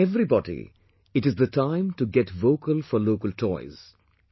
For everybody it is the time to get vocal for local toys